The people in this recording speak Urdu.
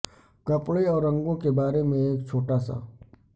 کپڑے اور رنگوں کے بارے میں ایک چھوٹا سا